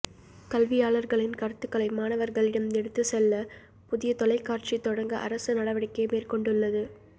கல்வியாளா்களின் கருத்துக்களை மாணவா்களிடம் எடுத்துச்செல்ல புதிய தொலைக்காட்சி தொடங்க அரசு நடவடிக்கை மேற்கொண்டுள்ளது